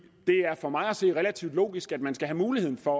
er for mig at se relativt logisk at man skal have muligheden for